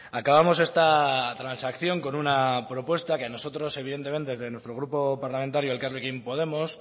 acabamos esta transacción con una propuesta que a nosotros evidentemente desde nuestro grupo parlamentario elkarrekin podemos